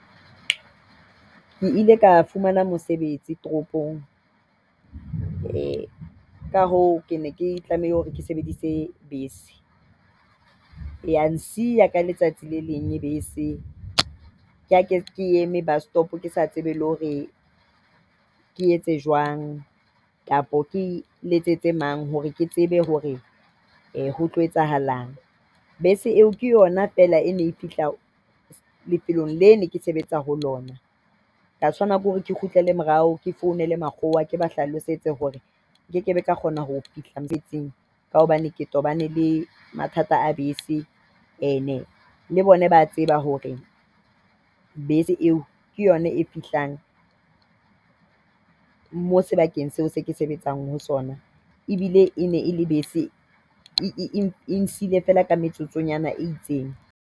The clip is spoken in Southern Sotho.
Ke ile ka fumana mosebetsi toropong. Eh, ka hoo ke ne ke tlameha hore ke sebedise bese. Ya nsiya ka letsatsi le leng bese. Ke ha ke eme bus stop, ke sa tsebe le hore ke etse jwang kapa ke letsetse mang hore ke tsebe hore ho tlo etsahalang. Bese eo ke yona fela e ne e fihla lefelong le ke neng ke sebetsa ho lona. Ka tshwanela ke hore ke kgutlele morao, ke founele makgowa. Ke ba hlalosetse hore nke kebe ka kgona ho fihla mosebetsing ka hobane ke tobane le mathata a bese. Ene le bona ba a tseba hore bese eo ke yona e fihlang moo sebakeng seo se ke sebetsang ho sona. Ebile e ne e le bese, e ntshehile fela ka metsotsonyana e itseng.